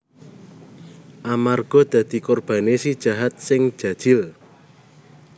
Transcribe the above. Amarga dadi korbane si jahat sing jajil